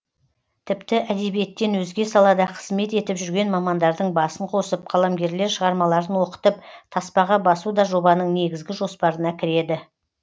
тіпті әдебиеттен өзге салада қызмет етіп жүрген мамандардың басын қосып қаламгерлер шығармаларын оқытып таспаға басу да жобаның негізгі жоспарына кіреді